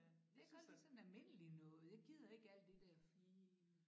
Jeg kan godt lide sådan noget almindeligt noget jeg gider ikke alt det der fine